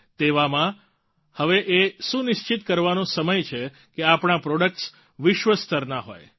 તેવામાં હવે એ સુનિશ્ચિત કરવાનો સમય છે કે આપણા પ્રોડક્ટ્સ વિશ્વ સ્તરના હોય